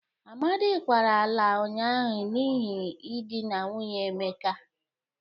Amadị kwara ala ụnyaahụ n'ihe idịna nwunye Emeka.